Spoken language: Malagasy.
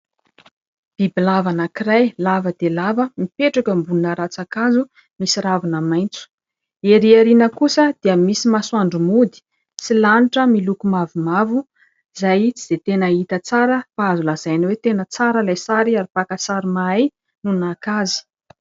Bibilava anankiray, lava dia lava, mipetraka ambonina ratsan-kazo misy ravina maitso. Ery aoriana kosa dia misy masoandro mody sy lanitra miloko mavomavo ; izay tsy dia tena hita tsara fa azo lazaina hoe tena tsara ilay sary ; ary mpakasary mahay no naka azy.